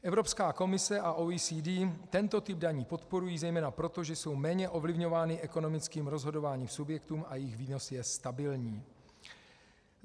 Evropská komice a OECD tento typ daní podporují, zejména proto, že jsou méně ovlivňovány ekonomickým rozhodováním subjektů a jejich výnos je stabilní.